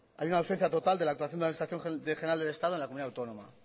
hay una ausencia total de la aclaración de la administración general del estado en la comunidad autónoma